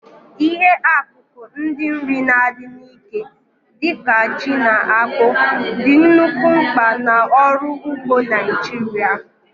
Ihe akụkụ ndị nri na-adị n'ike, dị ka ji na akpụ, dị nnukwu mkpa n'ọrụ ugbo Naijiria.